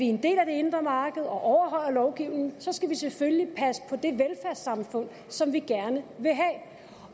en del af det indre marked og overholder lovgivningen selvfølgelig passe på det velfærdssamfund som vi gerne vil have